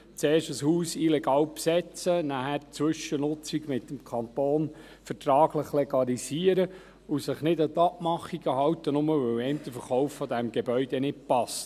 Zuerst ein Haus illegal besetzen, nachher die Zwischennutzung mit dem Kanton vertraglich legalisieren und sich nicht an die Abmachungen halten, nur, weil den einen der Verkauf dieses Gebäudes nicht passt: